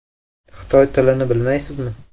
Xitoy tilini bilmaysizmi?